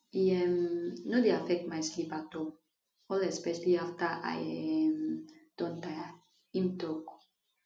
e um no dey affect my sleep at all all especially afta i um don tire im tok